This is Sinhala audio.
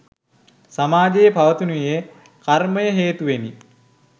සමාජයේ පවතිනුයේ කර්මය හේතුවෙනි.